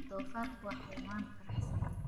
Doofaarku waa xayawaan faraxsan.